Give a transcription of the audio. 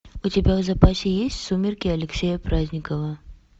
у тебя в запасе есть сумерки алексея праздникова